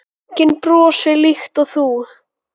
Enginn brosir líkt og þú.